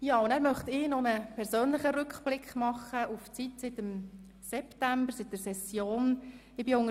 Nun möchte ich noch einen persönlichen Rückblick auf die Zeit seit der Septembersession machen.